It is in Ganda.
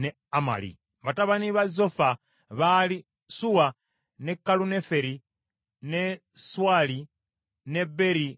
Batabani ba Zofa baali Suwa, ne Kaluneferi, ne Suwali, ne Beri, ne Imula,